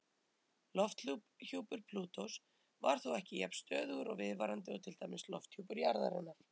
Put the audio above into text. Lofthjúpur Plútós er þó ekki jafn stöðugur og viðvarandi og til dæmis lofthjúpur jarðarinnar.